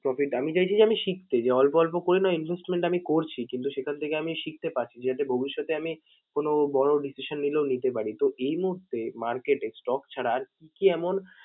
Profit । আমি চাইছি যে, আমি শিখতে যে অল্প অল্প করে না investment আমি করছি কিন্তু সেখান থেকে আমি শিখতে পারছি, যাতে ভবিষ্যতে আমি কোনও বড় decision নিলেও নিতে পারি। তো এই মূহুর্তে market এ stock ছাড়া আর কী কী এমন